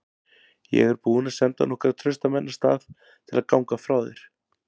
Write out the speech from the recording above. Ég er búinn að senda nokkra trausta menn af stað til að ganga frá þér.